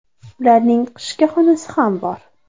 Ularning qishki xonasi ham bor.